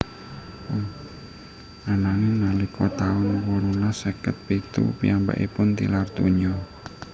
Ananging nalika taun wolulas seket pitu piyambakipun tilar donya